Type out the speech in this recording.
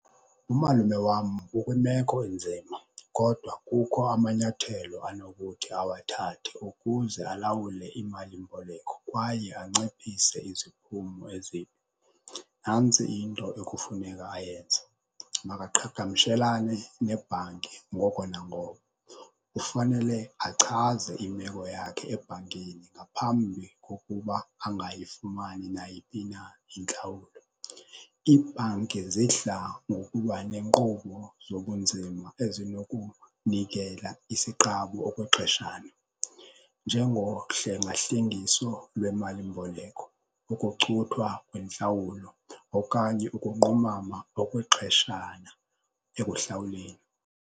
Umalume wam ukwimeko enzima kodwa kukho amanyathelo anokuthi awathathe ukuze alawule imali-mboleko kwaye anciphise iziphumo ezimbi. Nantsi into ekufuneka ayenze makaqhagamshelane nebhanki ngoko nangoko kufanele achaze imeko yakhe ebhankini ngaphambi kokuba angayifumani nayiphi na intlawulo. Ibhanki zidla ngokuba nenkqubo zobunzima ezinokunikela isiqabu okwexeshana. Njengohlengahlengiso lwemali-mboleko, ukucuthwa kwentlawulo okanye ukunqumama okwexeshana ekuhlawuleni.